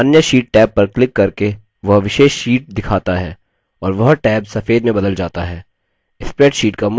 अन्य sheet tab पर click करके वह विशेष sheet दिखाता है और वह टैब सफेद में बदल जाता है